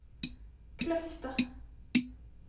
Kløfta